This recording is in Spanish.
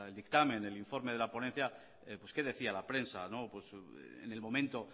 dictamen el informe de la ponencia qué decía la prensa en el momento